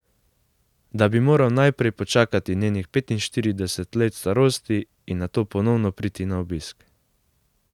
Da bi moral najprej počakati njenih petinštirideset let starosti in nato ponovno priti na obisk.